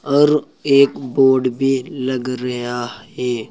और एक बोर्ड भी लग रया है।